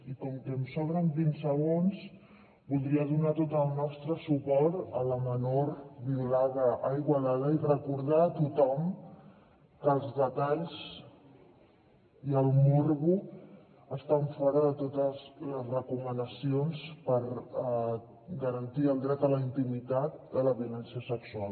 i com que em sobren vint segons voldria donar tot el nostre suport a la menor vio lada a igualada i recordar a tothom que els detalls i el morbo estan fora de totes les recomanacions per garantir el dret a la intimitat de la violència sexual